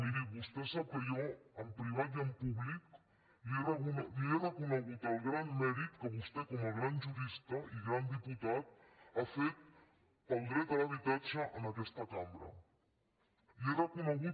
miri vostè sap que jo en privat i en públic li he reconegut el gran mèrit que vostè com a gran jurista i gran diputat ha fet pel dret a l’habitatge en aquesta cambra li ho he reconegut